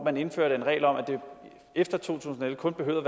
man indførte en regel om at det efter to tusind og elleve kun behøvede